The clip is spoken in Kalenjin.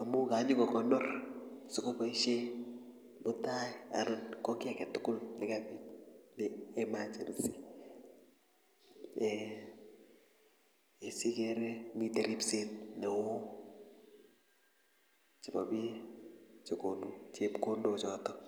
amu kanyiko konor sikoboisie mutai anan ko kiy aketugul nekaek emergency siikere mitei ripset neoo chebo bik chegonu chepkondochotok.